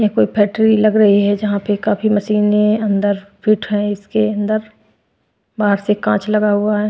यहाँ कोई फैक्ट्री लग रही है जहाँ पे काफी मशीनें अंदर फिट हैं इसके अंदर बाहर से काँच लगा हुआ है।